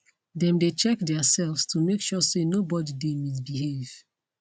them dey check theirselves to make sure say no body dey misbehave